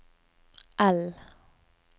L